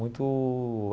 Muito.